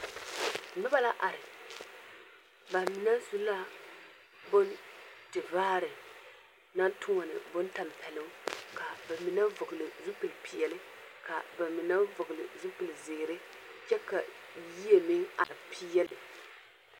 Noba la are. Bamine su la bontevaare naŋtoɔne bontampɛloŋ. Ka ba mine vɔgele zupilli peɛle, ka ba mine vɔgele zupili zeere. kyɛ ka yie meŋ are peɛle.